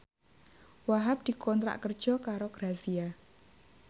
Wahhab dikontrak kerja karo Grazia